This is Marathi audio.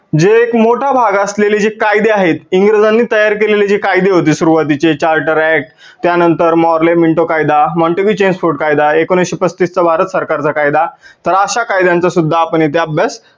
जे एक मोठा भाग असलेले जे कायदे आहेत इंग्रजांनी तयार केलेले जे कायदे होते सुरुवातीचे charter act त्या नंतर Morley minto कायदा, कायदा, एकोनविसशे पसतीस चा भारत सरकार चा कायदा तर अश्या कायद्यांचा सुद्धा आपण इथे अभ्यास